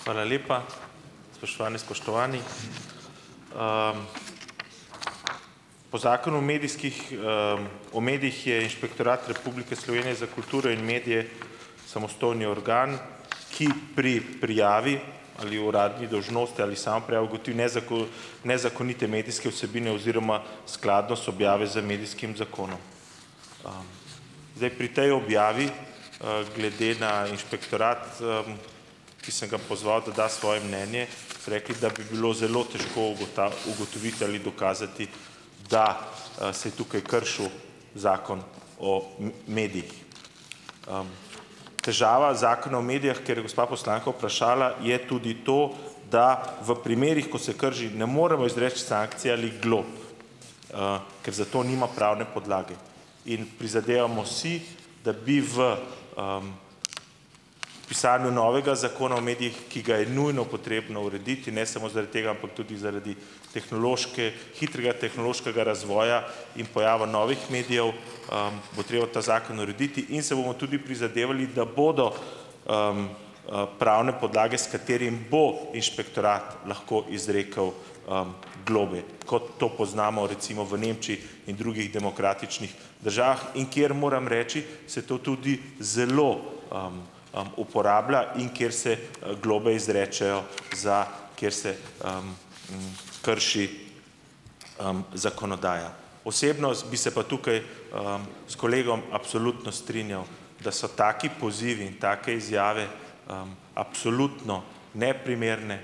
Hvala lepa. Spoštovane, spoštovani. Po zakonu o medijskih o medijih je Inšpektorat Republike Slovenije za kulturo in medije samostojni organ, ki pri prijavi ali uradni dolžnosti ali samoprijavi ugotovi nezakonite medijske vsebine oziroma skladnost objave z medijskim zakonom. Zdaj pri tej objavi, glede na Inšpektorat ki sem ga pozval, da da svoje mnenje, rekli, da bi bilo zelo težko ugotoviti ali dokazati, da se je tukaj kršil zakon o medijih. Težava zakona o medijih, ker je gospa poslanka vprašala, je tudi to, da v primerih, ko se krši, ne moremo izreči sankcije ali glob, ker za to nima pravne podlage, in prizadevamo si, da bi v pisanju novega zakona o medijih, ki ga je nujno potrebno urediti, ne samo zaradi tega, ampak tudi zaradi hitrega tehnološkega razvoja in pojava novih medijev, bo treba ta zakon urediti in se bomo tudi prizadevali, da bodo pravne podlage, s katerimi bo Inšpektorat lahko izrekel globe, kot to poznamo recimo v Nemčiji in drugih demokratičnih državah, in kjer moram reči, se to tudi zelo uporablja in kjer se globe izrečejo, za kjer se krši zakonodaja. Osebno bi se pa tukaj s kolegom absolutno strinjal, da so taki pozivi in take izjave absolutno neprimerne.